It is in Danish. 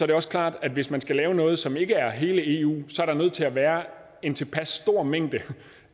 det også klart at hvis man skal lave noget som ikke er hele eu så er der nødt til at være en tilpas stor mængde